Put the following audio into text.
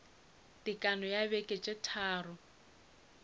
tekano ya beke tše tharo